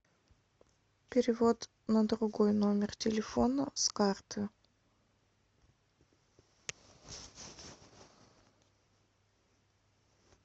перевод на другой номер телефона с карты